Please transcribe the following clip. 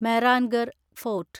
Mehrangarh fort